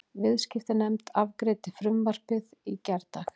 Viðskiptanefnd afgreiddi frumvarpið í gærdag